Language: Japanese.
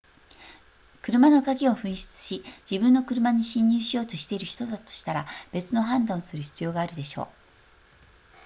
車の鍵を紛失し自分の車に侵入しようとしている人だとしたら別の判断をする必要があるでしょう